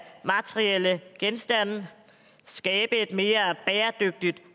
materielle genstande skabe et mere bæredygtigt